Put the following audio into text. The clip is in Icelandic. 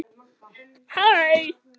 Enda kannski ekki að furða.